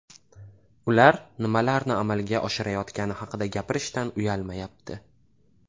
Ular nimalarni amalga oshirayotgani haqida gapirishdan uyalmayapti.